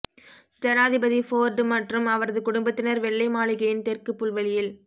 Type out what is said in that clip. ஜனாதிபதி ஃபோர்டு மற்றும் அவரது குடும்பத்தினர் வெள்ளை மாளிகையின் தெற்கு புல்வெளியில்